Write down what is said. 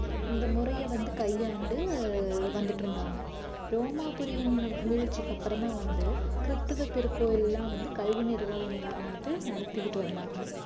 இந்த முறையை வந்து கையாண்டு வந்துட்டிருந்தாங்க ரோமாபுரியின் வீழ்ச்சிக்கு அப்புறம்தான் வந்து கிறித்துவ திருக்கோவில் எல்லாம் வந்து கல்வி நிறுவனங்களை அமைத்து நடத்திக்கிட்டு வந்தாங்க